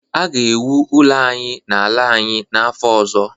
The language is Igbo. a ga-ewu ụlọ anyị n’ala anyị n’afọ ọzọ